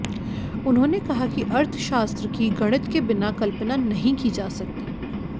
उन्होंने कहा कि अर्थशास्त्र की गणित के बिना कल्पना नहीं की जा सकती